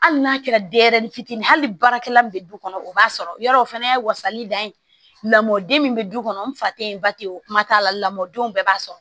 Hali n'a kɛra denyɛrɛnin fitini ye hali ni baarakɛla min bɛ du kɔnɔ o b'a sɔrɔ yɔrɔ o fana ye wasalen dɔ ye lamɔden min bɛ du kɔnɔ n fa tɛ ye ba tɛ ye o kuma t'a la lamɔdenw bɛɛ b'a sɔrɔ